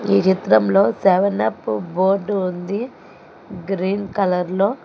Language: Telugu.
ఈ చిత్రంలో సెవెన్ అప్ బోర్డు ఉంది గ్రీన్ కలర్ లో.